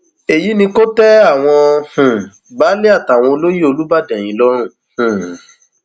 èyí ni kò tẹ àwọn um baálé àtàwọn olóyè olùbàdàn yìí lọrùn um